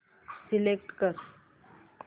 select कर